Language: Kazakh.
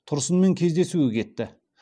тұрсынмен кездесуге кетті